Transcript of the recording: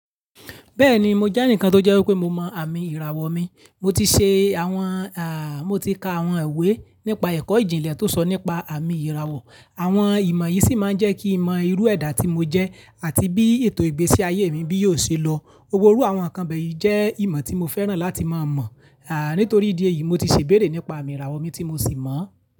Bẹ́ẹ̀ni, mo jẹ́ ẹnìkan tó jẹ́ wípé mo mọ àmì ìràwọ̀ mi. Mo ti ṣe àwọn à, mo ti ka àwọn ìwé nípa ẹ̀kọ́ ìjìnlẹ̀ tó sọ nípa àmì ìràwọ̀. Àwọn ìmọ̀ yìí sì máa ń jẹ́ kí n mọ irú ẹ̀dá tí mo jẹ́ àti bí ètò ìgbésí ayé mi bí yóò ṣe lọ. Wòrú àwọn ǹkan bẹ́ẹ̀ yí jẹ́ ìmọ̀ tí mo fẹ́ràn láti máa mọ̀. À nítorí ìdí èyí, mo ti ṣe ìbéèrè nípa àmì ìràwọ̀ mi tí mo sì mọ̀ ọ́n.